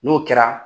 N'o kɛra